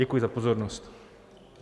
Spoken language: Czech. Děkuji za pozornost.